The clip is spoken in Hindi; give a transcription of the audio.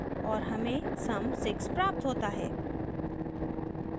और हमें sum 6 प्राप्त होता है